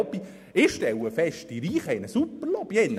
Ich stelle fest, dass die Reichen eine Super-Lobby haben: